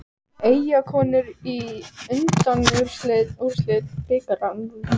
Eyjakonur í undanúrslit bikarsins